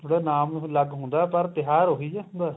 ਉਹਦਾ ਨਾਮ ਈ ਅਲੱਗ ਹੁੰਦਾ ਪਰ ਤਿਉਹਾਰ ਉਹੀ ਹੁੰਦਾ